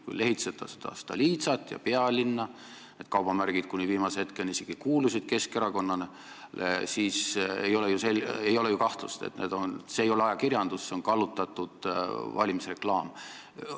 Kui lehitseda Stolitsat ja Pealinna – viimase hetkeni need kaubamärgid isegi kuulusid Keskerakonnale –, siis ei ole ju kahtlust, et see ei ole ajakirjandus, see on kallutatud valimisreklaam.